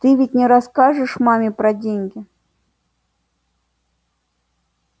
ты ведь не расскажешь маме про деньги